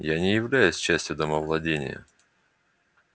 я не являюсь частью домовладения